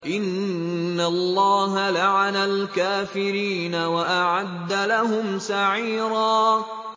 إِنَّ اللَّهَ لَعَنَ الْكَافِرِينَ وَأَعَدَّ لَهُمْ سَعِيرًا